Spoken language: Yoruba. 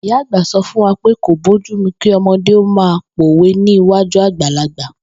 Ìyá àgbà so̩ fún wa pé kò bójúmu kí o̩mo̩dé ó máa pòwe ní iwájú àgbàlagbà